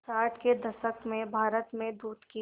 साठ के दशक में भारत में दूध की